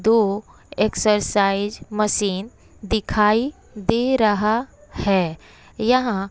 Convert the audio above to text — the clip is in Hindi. दो एक्सरसाइज मशीन दिखाई दे रहा है यहां--